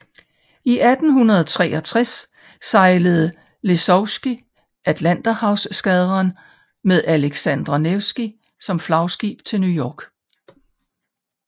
I 1863 sejlede Lesovskij Atlanterhavseskadren med Aleksandr Nevskij som flagskib til New York